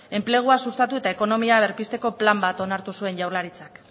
enplegua sustatu eta ekonomia berpizteko plan bat onartu zuen jaurlaritzak